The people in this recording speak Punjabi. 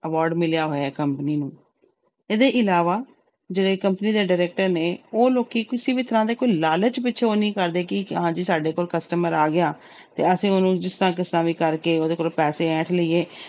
Award ਮਿਲਿਆ ਹੋਇਆ ਹੈ company ਨੂੰ, ਇਹਦੇ ਇਲਾਵਾ ਜਿਹੜੇ company ਦੇ director ਨੇ ਉਹ ਲੋਕੀ ਕਿਸੇ ਵੀ ਤਰ੍ਹਾਂ ਦੇ ਕੋਈ ਲਾਲਚ ਵਿੱਚ ਉਹ ਨੀ ਕਰਦੇ ਕਿ ਹਾਂ ਜੀ ਸਾਡੇ ਕੋਲ customer ਆ ਗਿਆ ਤੇ ਅਸੀਂ ਉਹਨੂੰ ਜਿੱਦਾਂ ਕਿੱਦਾਂ ਵੀ ਕਰਕੇ ਉਹਦੇ ਕੋਲੋਂ ਪੈਸੇ ਹੈਂਠ ਲਈਏ।